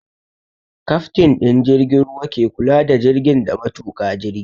Kaftin ɗin jirgin ruwa ke kula da jirgin da matuƙa jirgin